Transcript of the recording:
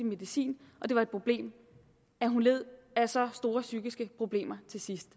medicin og det var et problem at hun led af så store psykiske problemer til sidst